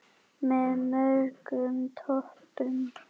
Með mörgum doppum.